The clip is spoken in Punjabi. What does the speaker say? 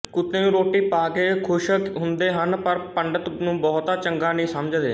ਕੁੱਤੇ ਨੂੰ ਰੋਟੀ ਪਾ ਕੇ ਖੁਸ਼ ਹੁੰਦੇ ਹਨ ਪਰ ਪੰਡਤ ਨੂੰ ਬਹੁਤਾ ਚੰਗਾ ਨਹੀਂ ਸਮਝਦੇ